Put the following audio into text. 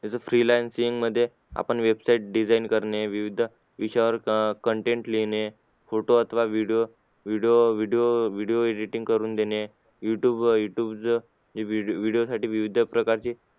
जसा freelancing मध्ये आपण website design करणे विविध विषयावर content लिहिणे photo अथवा video video videovideoevideoevideoediting करून देणे youtube youtube video साठी विविध प्रकारचे